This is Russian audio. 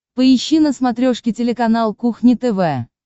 поищи на смотрешке телеканал кухня тв